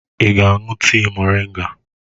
Ị ga-aṅụ tii moringa?